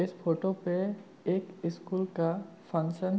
इस फोटो पे एक स्कूल का फंक्शन --